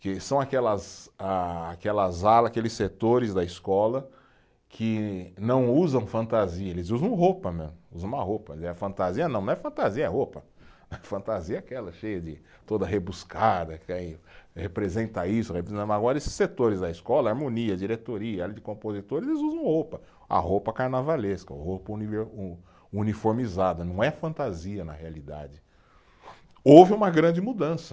Que são aquelas ah, aquelas alas, aqueles setores da escola que não usam fantasia, eles usam roupa mesmo, usam uma roupa, aliás fantasia não, não é fantasia, é roupa, fantasia é aquela cheia de, toda rebuscada que aí representa isso, agora esses setores da escola, harmonia, diretoria, área de compositores, eles usam roupa, a roupa carnavalesca, roupa univer, o, uniformizada, não é fantasia na realidade, houve uma grande mudança